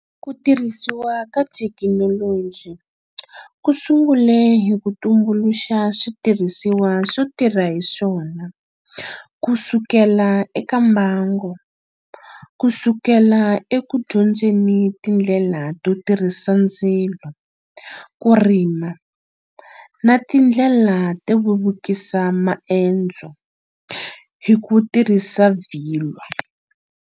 Kutirhisiwa ka thekinoloji kusungule hi kutumbuluxa switirhisiwa swo tirha hiswona kusukela eka mbango. Kusukela eku dyondzeni tindlela to tirhisa ndzilo, kurima na tindlela to vevukisa maendzo hikutirhisa vilwa.